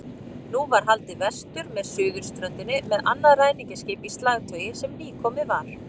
Nú var haldið vestur með suðurströndinni með annað ræningjaskip í slagtogi sem nýkomið var.